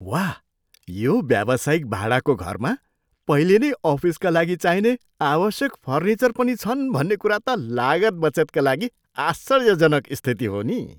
वाह! यो व्यावसायिक भाडाको घरमा पहिले नै अफिसका लागि चाहिने आवश्यक फर्निचर पनि छन् भन्ने कुरा त लागत बचतका लागि आश्चर्यजनक स्थिति हो नि।